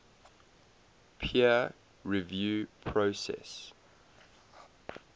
peer review process